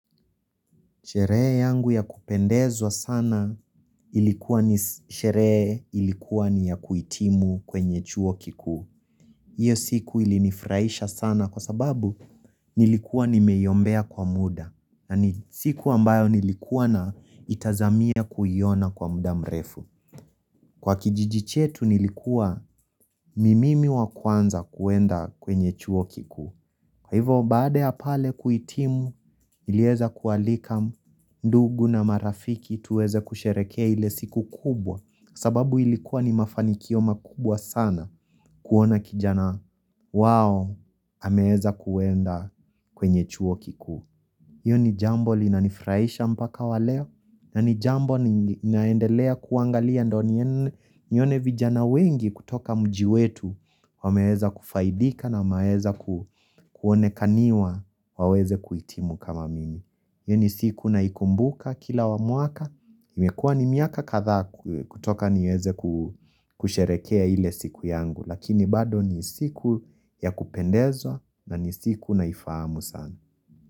Sherehe yangu ya kupendezwa sana ilikuwa ni sherehe ilikuwa ni ya kuitimu kwenye chuo kikuu. Iyo siku ilinifuraisha sana kwa sababu nilikuwa nimeiombea kwa muda. Siku ambayo nilikuwa na itazamia kuiona kwa muda mrefu. Kwa kijiji chetu nilikuwa ni mimi wa kwanza kuenda kwenye chuo kiku. Kwa hivyo baada ya pale kuitimu nilieza kualika ndugu na marafiki tuweze kusherekea ile siku kubwa sababu ilikuwa ni mafanikio makubwa sana kuona kijana wao ameweza kuenda kwenye chuo kikuu. Iyo ni jambo linanifraisha mpaka wa leo, na ni jambo ninaendelea kuangalia ndo nione vijana wengi kutoka mji wetu, wameweza kufaidika na wameweza kuonekaniwa waweze kuitimu kama mimi. Iyo ni siku na ikumbuka kila muaka, imekuwa ni miaka kathaa kutoka niweze kusherekea ile siku yangu, lakini bado ni siku ya kupendezwa na ni siku naifahamu sana.